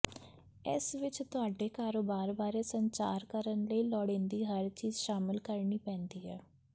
ਇਸ ਵਿੱਚ ਤੁਹਾਡੇ ਕਾਰੋਬਾਰ ਬਾਰੇ ਸੰਚਾਰ ਕਰਨ ਲਈ ਲੋੜੀਂਦੀ ਹਰ ਚੀਜ ਸ਼ਾਮਲ ਕਰਨੀ ਪੈਂਦੀ ਹੈ